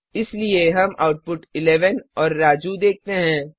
इसलिए हम आउटपुट 11 और राजू देखते हैं